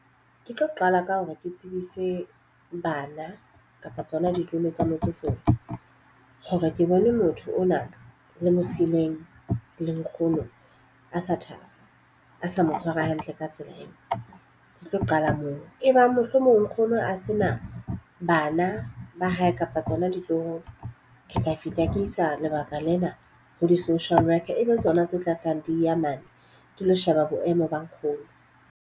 Ke tlo qala ka hore ke tsebise bana kapa tsona ditlolo tsa motsofe hore ke bone motho ona le mo siileng le nkgono a sa thaba. A sa mo tshwara hantle ka tsela eo. Ke tlo qala moo, e bang mohlomong nkgono a se na bana ba hae kapa tsona ditloholo. Ke tla fihla ke isa lebaka lena ho di-social worker e be tsona tse tla tlang di ya mane ke lo sheba boemo ba nkgono.